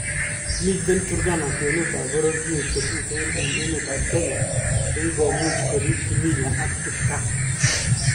Miten Turkana kwenut ab bororyet chetuten en emet ab Kenya chekikomuuch koriib kimila ak kipkaa.